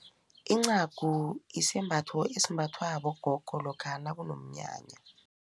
Incagu isembatho esimbathwa bogogo lokha nakunomnyanya.